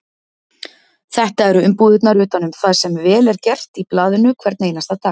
Þetta eru umbúðirnar utan um það sem vel er gert í blaðinu hvern einasta dag.